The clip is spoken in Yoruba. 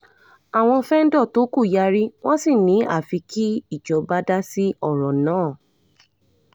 àwọn fẹ́ńdọ̀ tó kù yarí wọ́n sì ni àfi kí ìjọba dá sí ọ̀rọ̀ náà